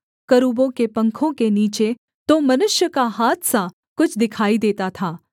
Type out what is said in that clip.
करूबों के पंखों के नीचे तो मनुष्य का हाथ सा कुछ दिखाई देता था